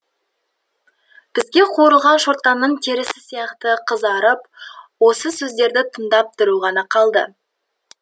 бізге қуырылған шортанның терісі сияқты қызарып осы сөздерді тыңдап тұру ғана қалды